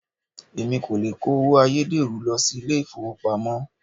Èmi kò le kó owó ayédèrú lọ sí ilé ìfowópamọ́.